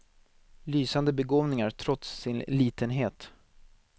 Lysande begåvningar, trots sin litenhet.